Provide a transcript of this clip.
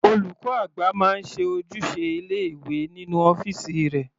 Olùkọ́ àgbà máa ń ṣe ojúṣe ilé ìwé nínú ọ́fìsì rẹ̀.